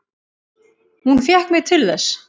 Hún fékk mig til þess!